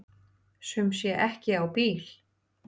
Sum sé ekki á bíl.